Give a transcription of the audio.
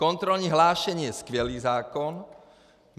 Kontrolní hlášení je skvělý zákon.